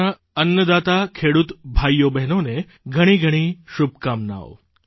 આપણા અન્નદાતા ખેડૂત ભાઇઓબહેનોને પણ ઘણી બધી શુભકામનાઓ